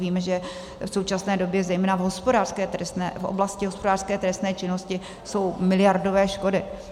Víme, že v současné době zejména v oblasti hospodářské trestné činnosti jsou miliardové škody.